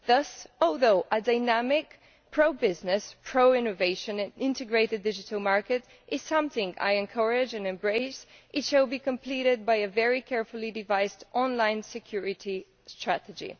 Thus, although a dynamic, pro business, pro innovation and integrated digital market is something I encourage and embrace, it should be completed by a very carefully devised online security strategy.